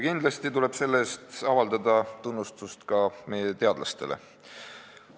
Kindlasti tuleb selle eest avaldada tunnustust ka meie teadlastele.